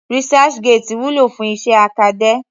Researchgate wúlò fún iṣẹ́ acadá.